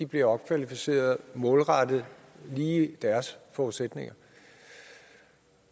bliver opkvalificeret målrettet lige deres forudsætninger